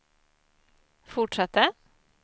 fortsatte